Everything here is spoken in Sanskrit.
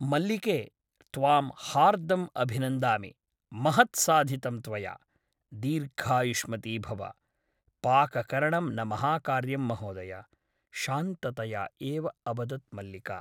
मल्लिके । त्वां हार्दम् अभिनन्दामि । महत् साधितं त्वया । दीर्घायुष्मती भव । पाककरणं न महाकार्यं महोदय शान्ततया एव अवदत् मल्लिका ।